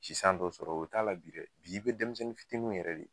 Si san dɔ sɔrɔ o t'a la bi dɛ, bi i be denmisɛnnin fitininw yɛrɛ de